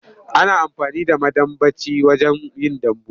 Ana amfani da madambaci wajen yin dambu.